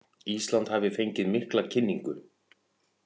Ísland hafi fengið mikla kynningu